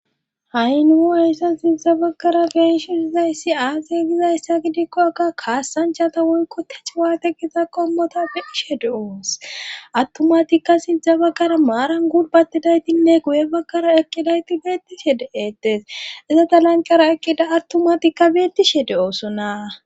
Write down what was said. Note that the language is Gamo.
ha7i nuu hayssan sinza bakara benshi sizayssi aaze gizayssa gidikko aka kaassanchata woyko tech waate giza qommota beishe de7oos attomatikka sindza bakara maaran gudbatidaytinne guye bakkara eqqidayti beettishe de7ettes iza talanqara eqqida attomatikka beettishe de7oosonaa